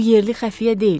Bu yerli xəfiyyə deyil.